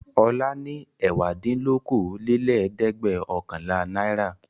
Ọlá ní ẹ̀wádínlókòólélẹ́ẹ̀dẹ́gbẹ̀ọ̀kànlá náírà.